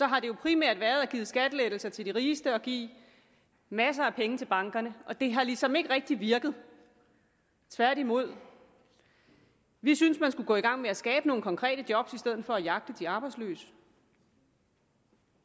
har det jo primært været at give skattelettelser til de rigeste og give masser af penge til bankerne og det har ligesom ikke rigtig virket tværtimod vi synes man skulle gå i gang med at skabe nogle konkrete job i stedet for at jagte de arbejdsløse